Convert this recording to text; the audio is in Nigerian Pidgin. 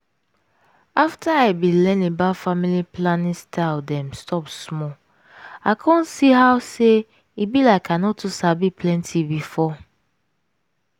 afta i bin learn about family planning style dem stop small i come see how say e be like i no too sabi plenty before.